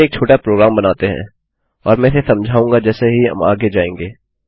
चलिए एक छोटा प्रोग्राम बनाते हैं और मैं इसे समझाऊँगा जैसे ही हम आगे जायेंगे